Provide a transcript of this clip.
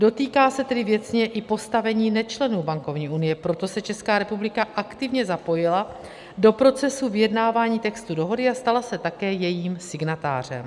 Dotýká se tedy věcně i postavení nečlenů bankovní unie, proto se Česká republika aktivně zapojila do procesu vyjednávání textu dohody a stala se také jejím signatářem.